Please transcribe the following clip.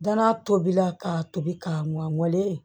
Danaya tobila k'a tobi ka mugan weele